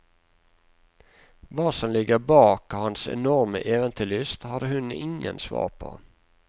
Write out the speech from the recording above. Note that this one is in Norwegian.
Hva som ligger bak hans enorme eventyrlyst, har hun ingen svar på.